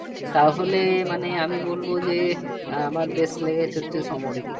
তাহলে মানে আমি বলব যে আমার best লেগেছে হচ্ছে somorika